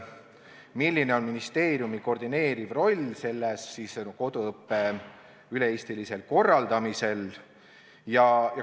Milline on ministeeriumi koordineeriv roll koduõppe üle-eestilisel korraldamisel?